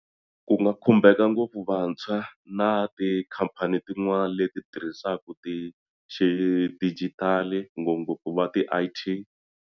Ku nga khumbeka ngopfu vantshwa na tikhampani tin'wana leti tirhisaka ti xi digital ngopfungopfu va ti-I_T.